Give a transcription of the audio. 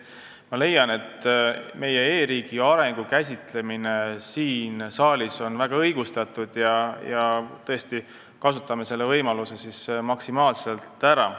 Ma leian, et meie e-riigi arengu käsitlemine siin saalis on väga õigustatud ja, tõesti, kasutame selle võimaluse siis maksimaalselt ära.